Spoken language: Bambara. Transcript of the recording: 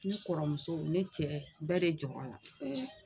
Ne kɔrɔmuso ne cɛ bɛɛ de jɔrɔ la n